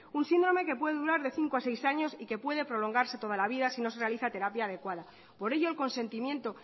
un síndrome que puede durar de cinco a seis años y que puede prolongarse toda la vida si no se realiza terapia adecuada por ello el consentimiento